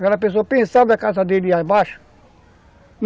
Aquela pessoa pensava a casa dele ia abaixo?